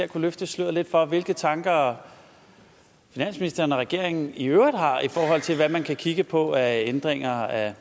kunne løfte sløret lidt for hvilke tanker finansministeren og regeringen i øvrigt har i forhold til hvad man kan kigge på af ændringer af